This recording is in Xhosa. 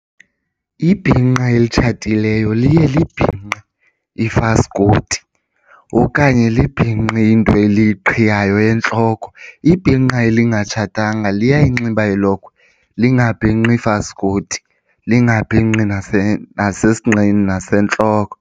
Ibhinqa elitshatileyo liye libhinqe ifaskoti okanye libhinqe into eliqhiyayo entloko. Ibhinqa elingatshatanga liyayinxiba ilokhwe lingabhinqi faskoti, lingabhinqi nasesinqeni nasentloko.